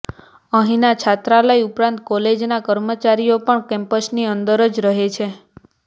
અહીંની છાત્રાલય ઉપરાંત કોલેજના કર્મચારીઓ પણ કેમ્પસની અંદર જ રહે છે